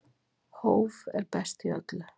Hóf er best í öllu.